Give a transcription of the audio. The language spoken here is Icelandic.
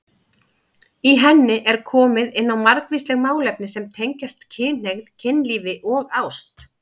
Í henni er komið inn á margvísleg málefni sem tengjast kynhneigð, kynlífi og ást.